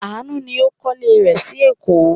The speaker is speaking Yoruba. Àánú ni ó ń kọ́lé rẹ̀ sí Èkó.